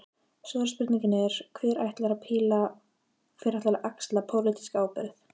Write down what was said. Stóra spurningin er: Hver ætlar að axla pólitíska ábyrgð?